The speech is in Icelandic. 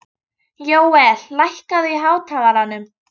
Jóel, lækkaðu í hátalaranum.